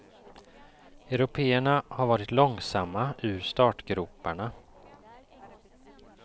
Européerna har varit långsamma ur startgroparna.